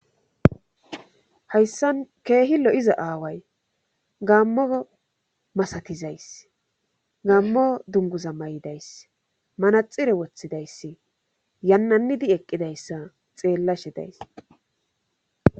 hayssan keehi lo7iza aaway gammo masatizays gaammo dunguza may7idayss manaxire woththidayssi yannannidi eqqidayssa xeellashe days